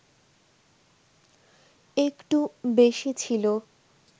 একটু বেশি ছিল